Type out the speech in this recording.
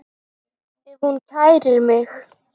Ef hún kærir mig.